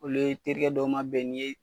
Olu ye terikɛ dɔw mabɛn ni ye